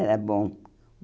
Era bom.